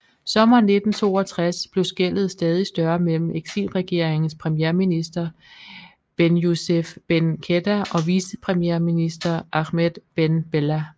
Sommeren 1962 blev skellet stadig større mellem eksilregeringens premierminister Benyousef Ben Khedda og vicepremierminister Ahmed Ben Bella